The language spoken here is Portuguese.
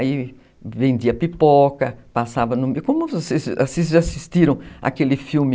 Aí vendia pipoca, passava no... Como vocês já assistiram aquele filme...